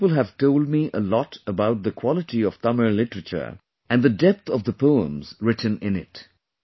Many people have told me a lot about the quality of Tamil literature and the depth of the poems written in it